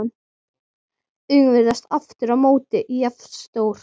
Augun virðast aftur á móti jafn stór.